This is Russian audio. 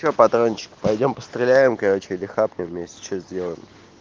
что патрончик пойдём постреляем короче или хапнем вместе что сделаем